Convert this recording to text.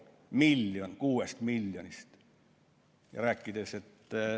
Miljon kuuest miljonist!